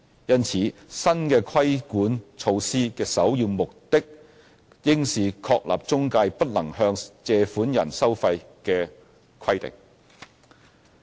因此，新的規管措施的首要目的應是確立中介不能向借款人收費的規定。